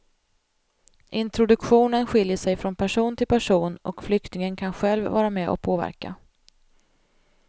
Introduktionen skiljer sig från person till person och flyktingen kan själv vara med och påverka.